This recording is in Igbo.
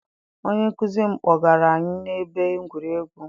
Onye nkụzi m kpọgara anyị na ebe egwuregwu.